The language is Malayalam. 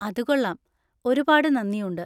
അത് കൊള്ളാം! ഒരുപാട് നന്ദിയുണ്ട്.